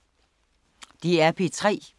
DR P3